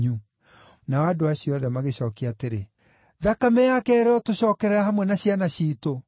Nao andũ acio othe magĩcookia atĩrĩ, “Thakame yake ĩrotũcookerera hamwe na ciana ciitũ!”